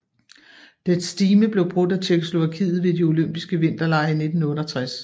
Dets stime blev brudt af Tjekkoslovakiet ved de Olympiske Vinterlege i 1968